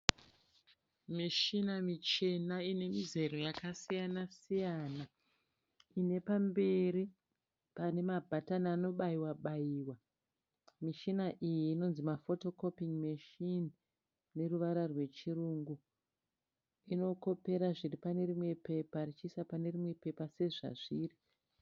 Meshina michena ine mizero yakasiyana-siyana. Ine pamberi pane mabhatani anobaiwa -baiwa. Mishina iyi inonzi mafotokopin'i meshini neruvara rwechirungu. Inokopera zviri pane rimwe bepa ichiisa pane rimwe bepa sezvazviri.